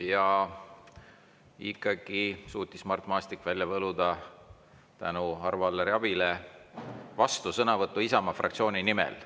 Ja ikkagi suutis Mart Maastik välja võluda tänu Arvo Alleri abile vastusõnavõtu Isamaa fraktsiooni nimel.